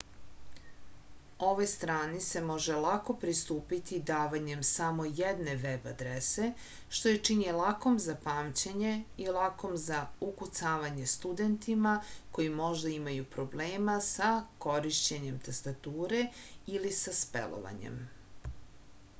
ovoj strani se može lako pristupiti davanjem samo jedne veb adrese što je čini lakom za pamćenje i lakom za ukucavanje studentima koji možda imaju problema sa korišćenjem tastature ili sa spelovanjem